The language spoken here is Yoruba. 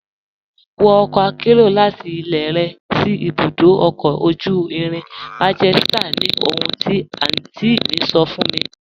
Wọ ọkọ àkẹ́ro láti ilẹ̀ rẹ sí ibùdó ọ̀kọ̀ ojú irin Manchester ni ohùn ti àntí mi sọ̀ fún mi.